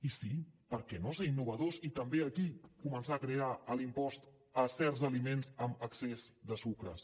i sí per què no ser innovadors i també aquí començar a crear l’impost a certs aliments amb excés de sucres